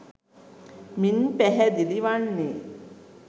මින් පැහැදිලි වන්නේ